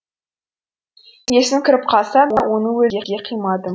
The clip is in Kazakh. есім кіріп қалса да оны өлдіге қимадым